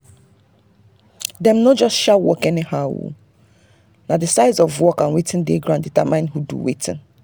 dem no just share work anyhow na the size of work and wetin dey ground determine who do wetin.